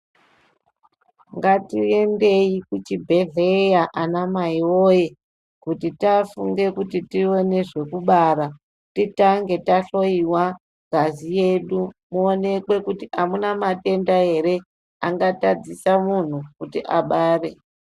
Ngatiendei kuchibhedhlera ana mai woye kuti tafunga kuti tione zvekubara titange tahloiwa ngazi yedu ionekwe kuti amuna matenda ere angatadzisa kuti muntu abare.